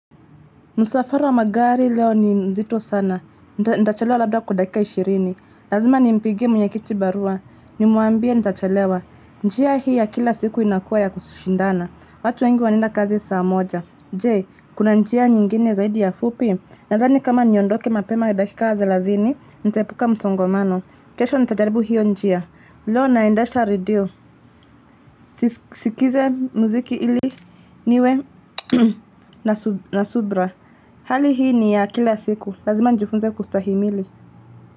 Musafara wa magari leo ni mzito sana, ntachalewa labda kwa dakika ishirini, lazima nimpigie mwenye kichi barua, nimuambia ntachalewa, njia hii ya kila siku inakuwa ya kushindana, watu wengi wanaenda kazi saa moja, je, kuna njia nyingine zaidi ya fupi, nadhani kama niondoke mapema dakika thelathini nitepuka msongomano, kesho nitajaribu hiyo njia, leo naendesha redio, sikize muziki ili niwe na subra. Hali hii ni ya kila siku lazima njifunze kustahimili.